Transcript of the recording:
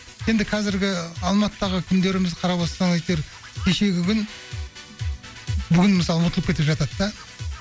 енді қазіргі алматыдағы күндерімізді қарап отырсаңыз әйтеуір кешегі күн бүгін мысалы ұмытылып кетіп жатады да